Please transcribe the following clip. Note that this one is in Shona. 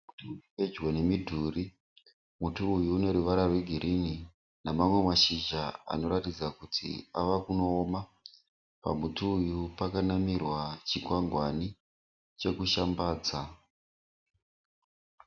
Muti uri pedyo nemidhuri. Muti uyu une ruvara rwegirini namamwe mashizha anoratidza kuti ava kunooma. Pamuti uyu pakanamirwa chikwangwani chekushambadza.